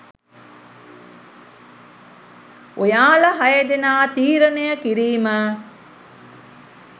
ඔයාලා හය දෙනා තීරණය කිරීම.